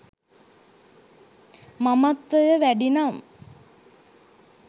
මමත්වය වැඩිනම්